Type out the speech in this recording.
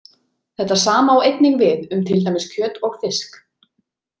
Þetta sama á einnig við um til dæmis kjöt og fisk.